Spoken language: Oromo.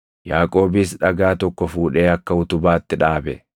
Yaaqoobis dhagaa tokko fuudhee akka utubaatti dhaabe.